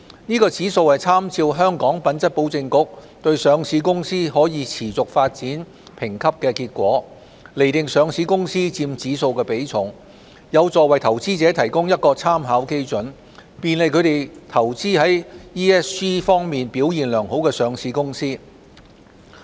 該指數參照香港品質保證局對上市公司可持續發展評級的結果，釐定上市公司佔指數的比重，有助為投資者提供一個參考基準，便利他們投資於 ESG 方面表現良好的上市公司。